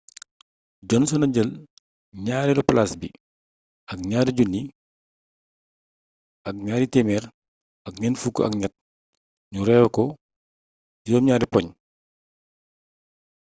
johnson a jël ñaareelu palaas bi ak 2,243 ñu rawee ko 7 poñ